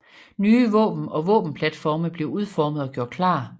Nye våben og våbenplatforme blev udformet og gjort klar